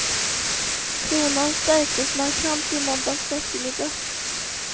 Kronan stärktes markant i måndags eftermiddag.